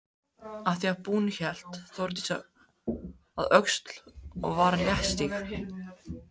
Að því búnu hélt Þórdís að Öxl og var léttstíg.